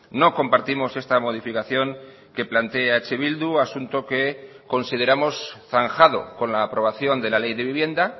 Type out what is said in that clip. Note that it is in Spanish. no compartimos esta modificación que plantea eh bildu asunto que consideramos zanjado con la aprobación de la ley de vivienda